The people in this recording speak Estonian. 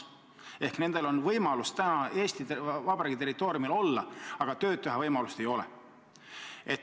Seega nendel on võimalik Eesti Vabariigi territooriumil olla, aga tööd teha nad ei saa.